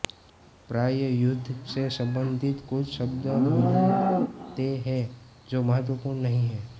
प्राय युद्ध से संबंधित कुछ शब्द मिलते हैं जो महत्वपूर्ण नहीं हैं